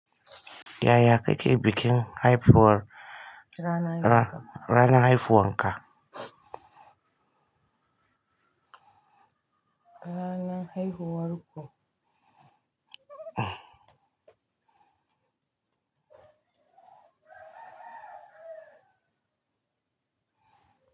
Yaya kake bikin haifuwar, ra, rana haifuwar ka? Ranan haihuwar ku.